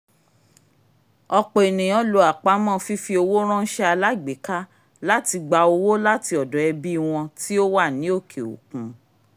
ọ̀pọ̀ ènìyàn lo àpamọ́ fífi owó ránṣẹ́ alágbèéká láti gba owó láti ọ̀dọ̀ ẹbí wọn tíó wà ní òkè òkun